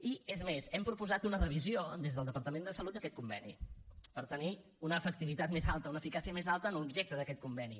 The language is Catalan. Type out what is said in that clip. i és més hem proposat una revisió des del departament de salut d’aquest conveni per tenir una efectivitat més alta una eficàcia més alta en l’objecte d’aquest conveni